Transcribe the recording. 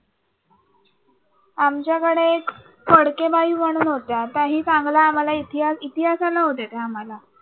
आमच्याकडे एक फडकेबाई म्हणून होत्या. त्याही चांगला आम्हाला इतिहास इतिहासाला होत्या त्या आम्हाला